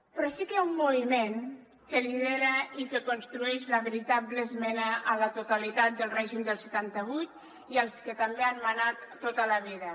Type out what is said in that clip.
però sí que hi ha un moviment que lidera i que construeix la veritable esmena a la totalitat del règim del setanta vuit i als que també han manat tota la vida